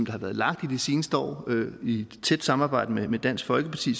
har været lagt i de seneste år i et tæt samarbejde med dansk folkeparti